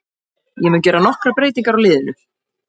Ég mun gera nokkrar breytingar á liðinu.